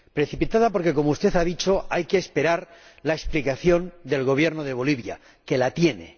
Precipitada porque, como usted ha dicho, hay que esperar la explicación del Gobierno de Bolivia, que la tiene.